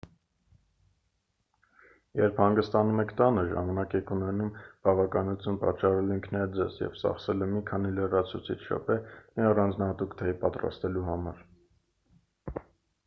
երբ հանգստանում եք տանը ժամանակ եք ունենում բավականություն պատճառելու ինքներդ ձեզ և ծախսելու մի քանի լրացուցիչ րոպե մի առանձնահատուկ թեյ պատրաստելու համար